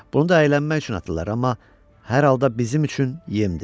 Bunu da əylənmək üçün atırlar, amma hər halda bizim üçün yemdir.